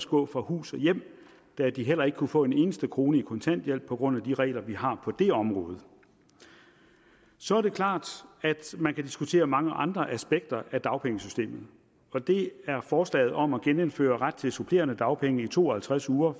gå fra hus og hjem da de heller ikke kunne få en eneste krone i kontanthjælp på grund af de regler vi har på det område så er det klart at man kan diskutere mange andre aspekter af dagpengesystemet og det er forslaget om at genindføre ret til supplerende dagpenge i to og halvtreds uger